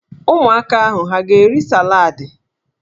Ụmụaka ahụ ha a ga-eri saladị?